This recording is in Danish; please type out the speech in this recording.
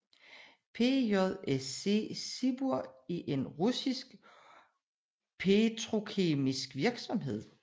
PJSC Sibur er en russisk petrokemisk virksomhed